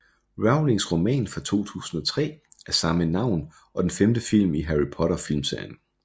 Rowlings roman fra 2003 af samme navn og den femte film i Harry Potter filmserien